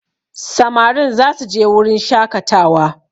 Samarin za su je wurin shakatawa